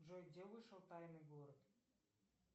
джой где вышел тайный город